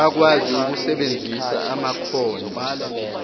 bakwazi ukusebenzisa amakhono